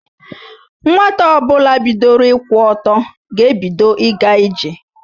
Nwata ọbụla bidoro ịkwụ ọtọ ga-ebido ịga ije.